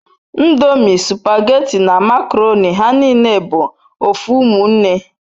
Ndomi, supageti na makoroni ha nine bu ofu umunne